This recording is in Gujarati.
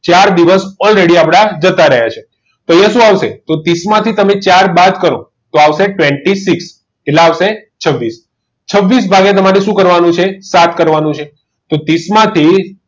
ચાર દિવસ already આપણા જતાં રહ્યા છે તો અહીંયા શું આવશે ત્રીસ માંથી આપણે ચાર બાદ કરો તો આવશે twenty six કેટલા આવશે twenty six ભાગ્યા આમાંથી શું કરવાનું છે સાત કરવાનું છે તો ત્રીસ માંથી